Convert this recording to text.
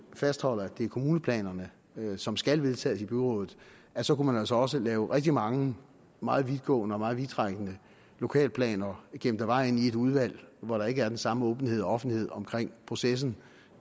fastholder at det er kommuneplanerne som skal vedtages i byrådet så kunne man altså også have rigtig mange meget vidtgående og meget vidtrækkende lokalplaner gemt af vejen i et udvalg hvor der ikke er den samme åbenhed og offentlighed omkring processen